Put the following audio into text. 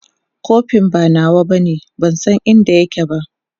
kofin ba nawa bane ban San inda yake ba